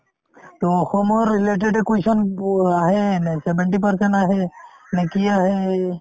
to অসমৰ related য়ে question প আহে এনে seventy percent আহেই নে কি আহে এই